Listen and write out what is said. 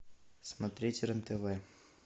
смотреть рен тв